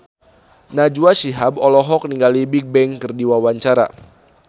Najwa Shihab olohok ningali Bigbang keur diwawancara